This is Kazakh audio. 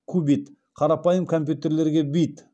кубит қарапайым компьютерлерге бит